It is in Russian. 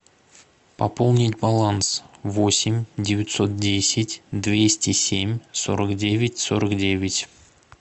пополнить баланс восемь девятьсот десять двести семь сорок девять сорок девять